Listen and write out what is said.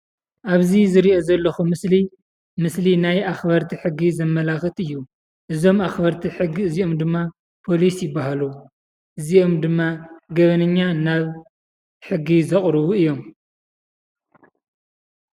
አብዚ ዝሪኦ ዘለኩ ምስሊ ምስሊ ናይ አክበርቲ ሕጊ ዘመላክት እዩ። እዞም አክበርቲ ሕጊ እዚኦም ድማ ፖሊስ ይበሃሉ። እዚኦም ድማ ገበነኛ ናብ ሕጊ ዘቅርቡ እዮም።